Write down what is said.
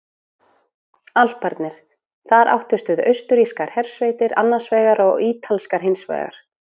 Alparnir: Þar áttust við austurrískar hersveitir annars vegar og ítalskar hins vegar.